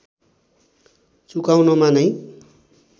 चुकाउनमा नै